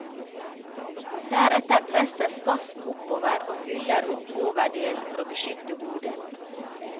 Deretter presses gassen oppover og fyller opp overdelen for å beskytte hodet.